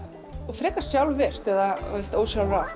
frekar sjálfvirkt eða ósjálfrátt